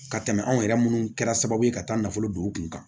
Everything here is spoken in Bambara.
Ka tɛmɛ anw yɛrɛ munnu kɛra sababu ye ka taa nafolo don u kun kan